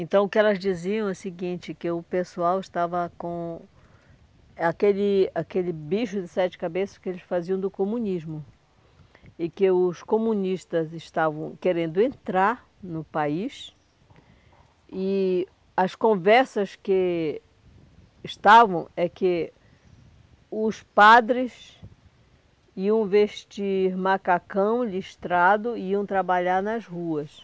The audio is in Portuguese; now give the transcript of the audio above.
Então o que elas diziam é o seguinte, que o pessoal estava com aquele aquele bicho de sete cabeças que eles faziam do comunismo e que os comunistas estavam querendo entrar no país e as conversas que estavam é que os padres iam vestir macacão listrado e iam trabalhar nas ruas.